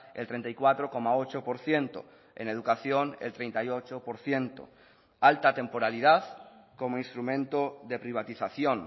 el treinta y cuatro coma ocho por ciento en educación el treinta y ocho por ciento alta temporalidad como instrumento de privatización